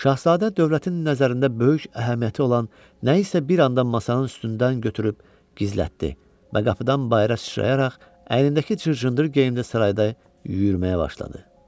Şahzadə dövlətin nəzərində böyük əhəmiyyəti olan nəyisə bir anda masanın üstündən götürüb gizlətdi və qapıdan bayıra sıçrayaraq əynindəki cır-cındır geyimdə sarayda yürüməyə başladı.